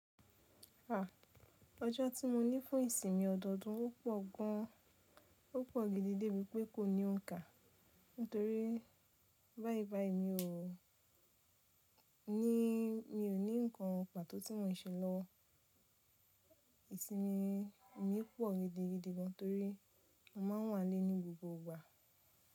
Àh, ọjọ́ tí mo ní fún ìsinmi ọdọọdún ò pọ̀ gan. Ó pọ̀ giving de bí pé kò ní òǹkà, nítorí báìbàì mi ò ní, mi ò ní ǹkan pàtó tí mò ń se lọwo. Ìsinmi mi pọ̀ gidigidi gan, torí mo má ń wà nílé ní gbogbo ìgbà.